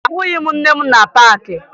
Ahụghị m nne m na paakị